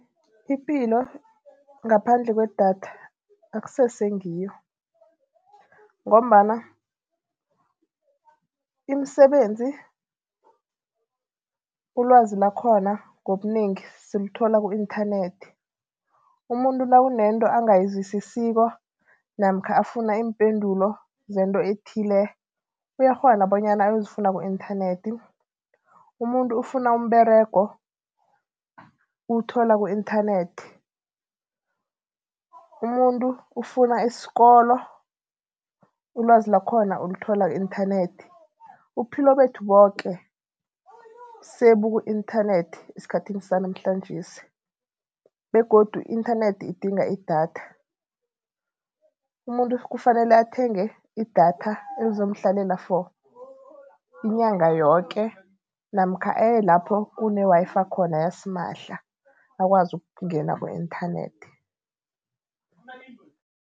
Ipilo ngaphandle kwedatha akusese ngiyo ngombana imisebenzi ulwazi lakhona ngobunengi silithola ku-inthanethi. Umuntu nakunento angayizwisisiko namkha afuna iimpendulo zento ethile, uyakghona bonyana ayozifuna ku-inthanethi. Umuntu ufuna umberego uwuthola ku-inthanethi, umuntu ufuna isikolo ulwazi lakhona ulithola ku-inthanethi. Ubuphilo bethu boke sebuku-inthanethi esikhathini sanamhlanjesi begodu i-inthanethi idinga i-datha. Umuntu kufanele athenge idatha elizomhlalela for inyanga yoke namkha aye lapho kune-Wi-Fi khona yasimahla akwazi ukungena ku-internet.